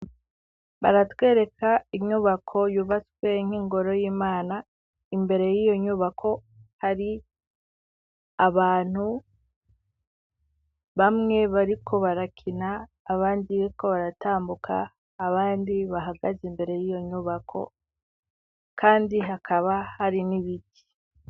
Baratwereka inyubako yubatswe nk'ingoro y'Imana imbere y'iyo nyubako ,hari abantu bamwe bariko barakina, abandi ko baratambuka, abandi bahagaze imbere y'iyo nyubako, kandi hakaba hari n'ibiti.